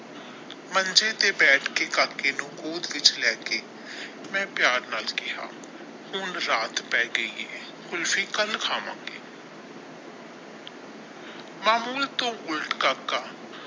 ਮੰਜੇ ਤੇ ਬੈਠਾ ਕੇ ਮੈਂ ਕਾਕੇ ਨੂੰ ਗੋਦ ਵਿੱਚ ਲੈ ਕੇ ਮੈ ਪਿਆਰ ਨਾਲ ਕਹਿਆ ਹੁਣ ਰਾਤ ਪੈ ਗਈ ਹੈ ਕੁਲਫੀ ਕੱਲ ਖਾਵਾਂਗੇ ਮਾਮੂਲ ਤੋਂ ਉੱਲਟ ਕਾਕਾ।